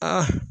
Aa